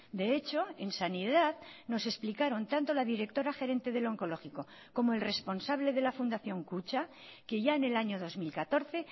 de hecho en sanidad nos explicaron tanto la directora gerente del oncológico como el responsable de la fundación kutxa que ya en el año dos mil catorce